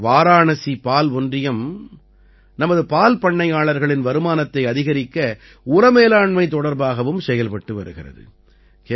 வாராணசி பால் ஒன்றியம் நமது பால் பண்ணையாளர்களின் வருமானத்தை அதிகரிக்க உர மேலாண்மை தொடர்பாகவும் செயல்பட்டு வருகிறது